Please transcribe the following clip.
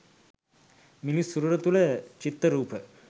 මිනිස් සිරුර තුළ චිත්ත රූප